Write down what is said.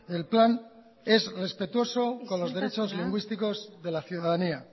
el plan es respetuoso con los derechos lingüísticos de la ciudadanía